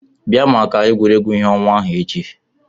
Bịa maka egwuregwu ìhè ọnwa ahụ echi!